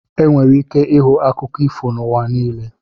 Enwere ike ịhụ akụkọ ifo n'ụwa niile.